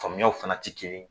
Faamuyaw fana tɛ kelen ye